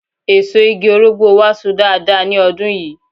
Èso igi Orógbó wa So dáadáa ní ọdún yìí